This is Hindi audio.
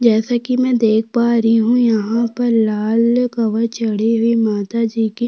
जैसा की में देख पा रही हूँ यहाँ पर लाल कवर चढ़ी हुयी माताजी की --